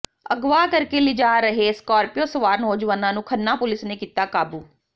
ਅਗਵਾ ਕਰਕੇ ਲਿਜਾ ਰਹੇ ਸਕਾਰਪਿਓ ਸਵਾਰ ਨੌਜਵਾਨਾਂ ਨੂੰ ਖੰਨਾ ਪੁਲਿਸ ਨੇ ਕੀਤਾ ਕਾਬੂ